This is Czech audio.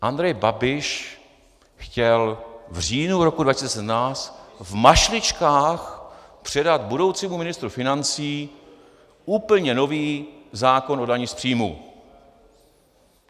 Andrej Babiš chtěl v říjnu roku 2017 v mašličkách předat budoucímu ministru financí úplně nový zákon o dani z příjmů.